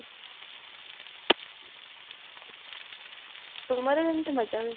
ତୁମର କେମତି ମଜା ହୁଏ